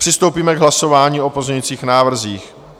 Přistoupíme k hlasování o pozměňujících návrzích.